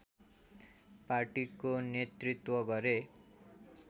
पार्टीको नेतृत्व गरे